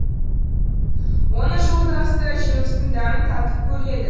оның жолдасы да жемістің дәмін татып көреді